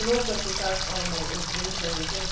Ik geloof dat we het daar allemaal over eens zijn.